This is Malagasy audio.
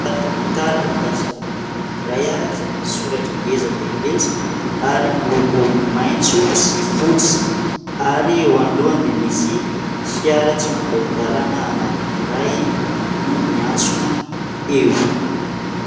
Sary famantarana mikasika ny boky anankiray izay misy misoratra ngeza dia ngeza ary miloko maitso sy fotsy ary eo anolohany dia misy fiara tsy matahodalana anankiray no miantsona eo.